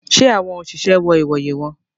Ṣe awọn oṣiṣẹ wọ ìwòyè wọn?